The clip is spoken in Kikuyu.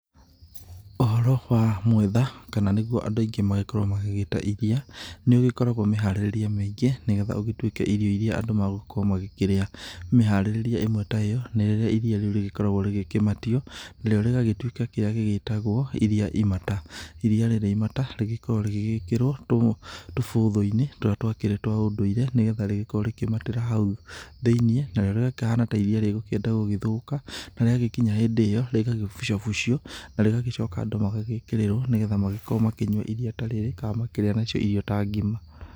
Ũhoro wa mwĩtha kana nĩguo andũ aingĩ magĩkoragwo magĩta iria. Nĩũgĩkoragwo mĩharĩrĩrie mĩingĩ nĩgetha ũgĩtuĩke irio iria andũ magũkorwo magĩkĩria. Meharĩrĩrie ĩmwe ta iyo nĩ rĩrĩa iria riũ rĩgĩkoragwo rĩkĩmatio. Narĩo rĩgagĩtuĩka kĩrĩa gĩgĩtagwo iria imata. Iria rĩrĩ imata rĩgĩkoragwo rĩgĩgĩkĩrwo tũbũthũ-inĩ tũrĩa twa ũndũire nĩgetha rĩgĩkorwo rĩkĩmatĩra hau thĩiniĩ. Na rĩo rĩkahana ta iria rĩu rĩgũkĩenda gũgĩthũka na rĩagĩkinya hĩndĩ ĩyo rĩgakĩbũcabũcio na rĩgagĩcoka andũ magagĩkĩrĩrwo nĩgetha magĩkorwo makĩnyua iria ta rĩrĩ kana makĩrĩa nacio irio ta ngima.